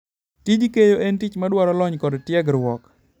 Tij keyo en tich madwaro lony kod tiegruok.